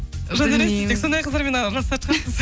жандаурен сіз тек сондай қыздармен араласатын шығарсыз